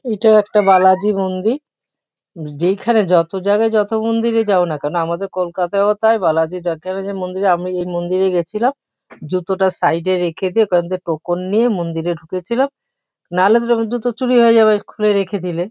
এটা একটা বালাজি মন্দির । যেইখানে যত জায়গায় যত মন্দিরেই যাওনা কেন আমাদের কলকাতায়ও তাই বালাজি জাতেরেও যে মন্দিরে আমি এই মন্দিরে গেছিলাম। জুতোটা সাইড -এ রেখে দিয়ে কয়েকটা টোকন নিয়ে মন্দিরে ঢুকেছিলাম। নালে তো ওরম জুতো চুরি হয়ে যাবে খুলে রেখে দিলে।